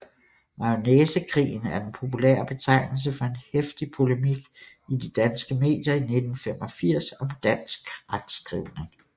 Majonæsekrigen er den populære betegnelse for en heftig polemik i de danske medier i 1985 om dansk retskrivning